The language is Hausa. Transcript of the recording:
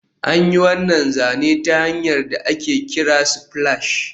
An yi wannan zane ta hanyar da ake kira splash